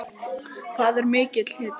Hvað er mikill hiti?